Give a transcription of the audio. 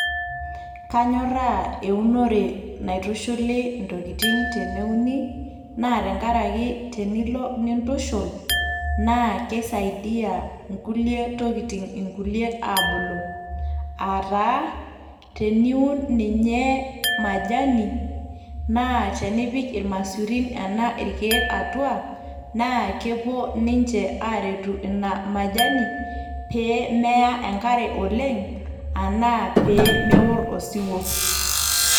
kanyorraa eunore naitushuli intokitin teneuni naa tenkaraki tenilo nintushul naa keisaidia inkulie tokitin inkuliek aabulu aataa teniun ninye majani naa tenipik irmasurin enaa irkeek atua naa kepuo ninche aaretu ina majani pee meya enkare oleng anaa peemeworr osiwuo.